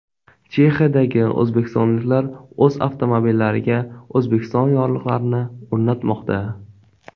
Chexiyadagi o‘zbekistonliklar o‘z avtomobillariga O‘zbekiston yorliqlarini o‘rnatmoqda.